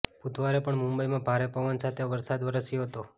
બુધવારે પણ મુંબઈમાં ભારે પવન સાથે વરસાદ વરસ્યો હતો